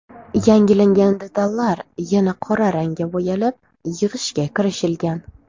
Yangilangan detallar yana qora rangga bo‘yalib, yig‘ishga kirishilgan.